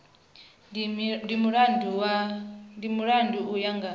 ndi mulandu u ya nga